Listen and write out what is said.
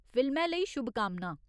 फिल्मै लेई शुभकामनां!